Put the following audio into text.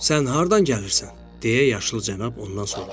"Sən hardan gəlirsən?" deyə yaşlı cənab ondan soruşdu.